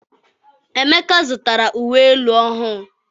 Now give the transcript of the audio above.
Emeka zụtara uwe elu ọhụụ.